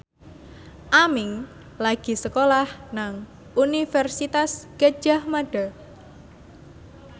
Aming lagi sekolah nang Universitas Gadjah Mada